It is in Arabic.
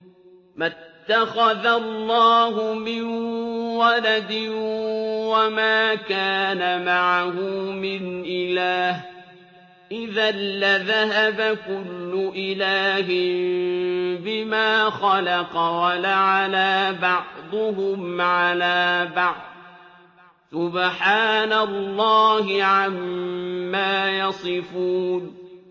مَا اتَّخَذَ اللَّهُ مِن وَلَدٍ وَمَا كَانَ مَعَهُ مِنْ إِلَٰهٍ ۚ إِذًا لَّذَهَبَ كُلُّ إِلَٰهٍ بِمَا خَلَقَ وَلَعَلَا بَعْضُهُمْ عَلَىٰ بَعْضٍ ۚ سُبْحَانَ اللَّهِ عَمَّا يَصِفُونَ